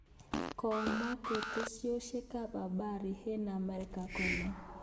Komwa ketesyosek ab habari eng amerika kole